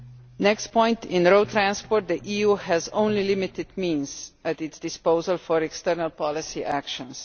The next point is that in EU road transport the EU has only limited means at its disposal for external policy actions.